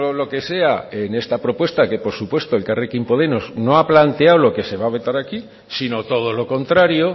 lo que sea en esta propuesta que por supuesto elkarrekin podemos no ha planteado lo que se va a botar aquí si no todo lo contrario